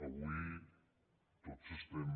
avui tots estem